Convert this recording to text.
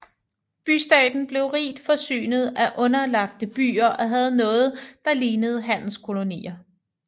Bystaten blev rigt forsynet af underlagte byer og havde noget der lignede handelskolonier